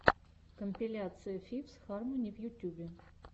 компиляция фифс хармони в ютюбе